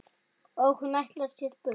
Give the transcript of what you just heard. Og hún ætlar sér burt.